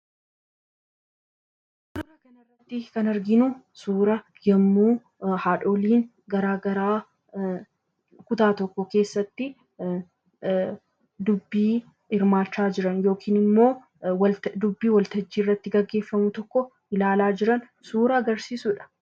Bakka kanatti kan arginu, Suura yemmuu haadholiin garaagaraa kutaa tokko keessatti dubbii hirmaachaa jiran yookiin immoo dubbii waltajjii irratti gaggeeffamu tokko ilaalaa jiran suuraa agarsiisudha.